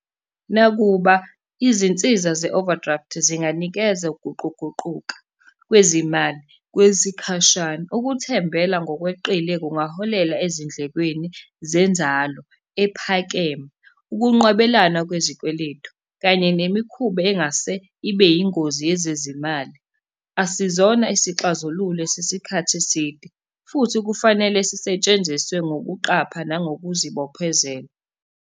Nakuba izinsiza ze-overdraft zinganikeza ukuguquguquka kwezimali kwesikhashana, ukuthembela ngokweqile kungaholela ezindlekweni zenzalo ephakeme. Ukunqwabelana kwezikweletu, kanye nemikhuba engase ibe yingozi yezezimali. Asizona isixazululo sesikhathi eside, futhi kufanele sisetshenziswe ngokuqapha nangokuzibophezela.